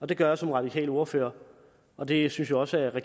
det gør jeg som radikal ordfører og det synes jeg også at